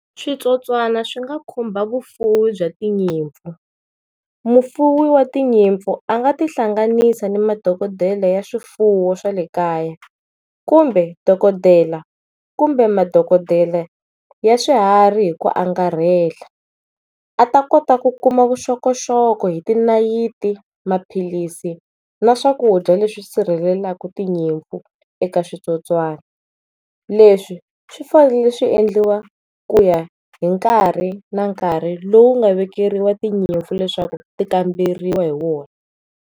Switsotswani swi nga khumba vufuwi bya tinyimpfu, mufuwi wa tinyimpfu a nga tihlanganisa ni madokodele ya swifuwo swa le kaya kumbe dokodela kumbe madokodele ya swiharhi hi ku angarhela a ta kota ku kuma vuxokoxoko hi ti nayiti, maphilisi na swakudya leswi sirhelela tinyimpfu eka switsotswani leswi swi fanele swi endliwa ku ya hi nkarhi na nkarhi lowu nga vekeriwa tinyimpfu leswaku ti kamberiwa hi wona.